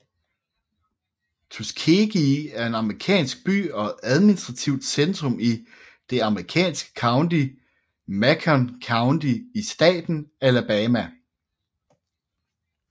Tuskegee er en amerikansk by og administrativt centrum i det amerikanske county Macon County i staten Alabama